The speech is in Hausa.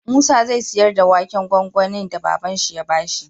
Musa zai siyar da waken gwangwanin da baban shi ya bashi